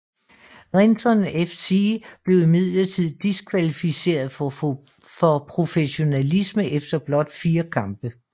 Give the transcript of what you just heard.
Renton FC blev imidlertid diskvalificeret for professionalisme efter blot fire kampe